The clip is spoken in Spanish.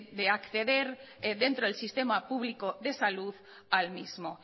de acceder dentro del sistema público de salud al mismo